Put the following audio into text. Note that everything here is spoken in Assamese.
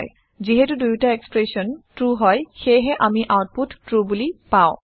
যিহেটো দুয়োটা এক্সপ্ৰেচন ট্ৰু হয় সেয়েহে আমি আওতপুত ট্ৰু বোলি পাওঁ